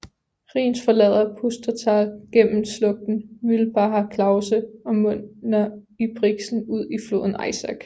Rienz forlader Pustertal gennem slugten Mühlbacher Klause og munder i Brixen ud i floden Eisack